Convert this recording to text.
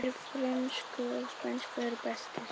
Þeir frönsku og spænsku eru bestir